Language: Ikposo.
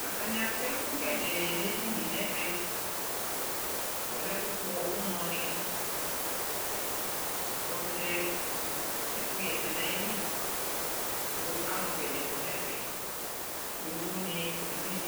atani atɛ ɛko gɛɖɛ ne edinie neʋɛ alɛ ɛko pkɔ unɔ ni otchɛ nu ɛko yɛsɛ na ɣili kɔ alu gɛɖɛ kɔ nɛƒɛ yovo ni eʋidʒe